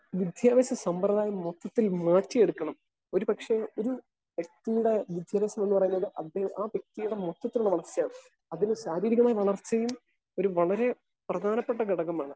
Speaker 1 വിദ്യാഭ്യാസ സമ്പ്രദായം മൊത്തത്തിൽ മാറ്റിയെടുക്കണം. ഒരു പക്ഷെ ഒരു വ്യക്തിയുടെ വിദ്ദേശം എന്ന് പറയുന്നത് ആഹ് വ്യക്തിയുടെ മൊത്തത്തിലുള്ള അവസ്ഥയാണ്. അതിന് ശാരീരികമായ വളർച്ചയും ഒരു വളരെ പ്രധാനപ്പെട്ട ഒരു ഘടകമാണ്.